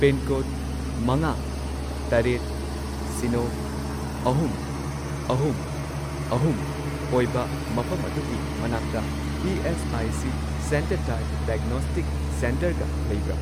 Pincode ꯃꯉꯥ, ꯇꯔꯦꯠ, ꯁꯤꯅꯣ, ꯑꯍꯨꯝ, ꯑꯍꯨꯝ, ꯑꯍꯨꯝ ꯑꯣꯏꯕ ꯃꯐꯝ ꯑꯗꯨꯒꯤ ꯃꯅꯥꯛꯇ ꯏ.ꯑꯦꯁ.ꯑꯥꯏ.ꯁꯤ. ꯁꯦꯟꯇꯔ ꯇꯥꯏꯞ ꯗꯥꯏꯒꯅꯣꯁꯇꯤꯛ ꯁꯦꯟꯇꯔꯒ ꯂꯩꯕ꯭ꯔꯥ?